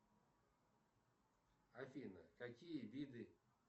афина какие виды